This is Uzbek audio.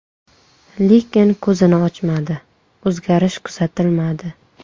Lekin ko‘zini ochmadi, o‘zgarish kuzatilmadi.